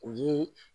U ye